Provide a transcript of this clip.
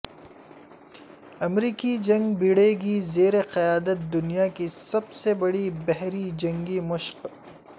امریکی جنگی بیڑے کی زیر قیادت دنیا کی سب سے بڑی بحری جنگی مشق